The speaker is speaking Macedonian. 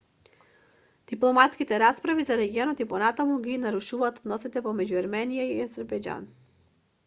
дипломатските расправи за регионот и понатаму ги нарушуваат односите меѓу ерменија и азербејџан